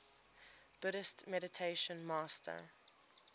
buddhist meditation master